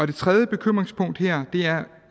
det tredje bekymringspunkt er